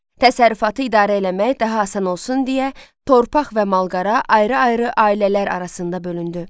Təsərrüfatı idarə eləmək daha asan olsun deyə, torpaq və malqara ayrı-ayrı ailələr arasında bölündü.